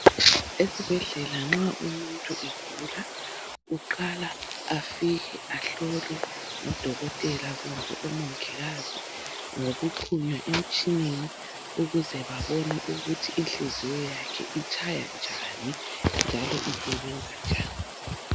Esibhedlela nxa umuntu egula uqala afike ahlolwe ngodokotela kumbe omongikazi ngokuxhunywa emtshineni ukuze babone ukuthi inhliziyo yakhe itshaya njani njalo ukuthi isebenza njani.